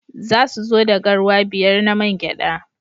Za su zo da garwa biyar na man gyada.